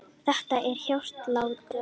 Þetta er hjartslátturinn.